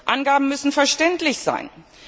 Angaben müssen verständlich sein.